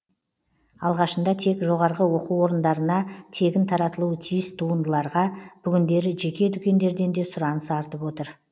алғашында тек жоғарғы оқу орындарына тегін таратылуы тиіс туындыларға бүгіндері жеке дүкендерден де сұраныс артып отыр